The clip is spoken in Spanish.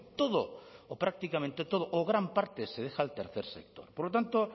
todo o prácticamente todo o gran parte se deja al tercer sector por lo tanto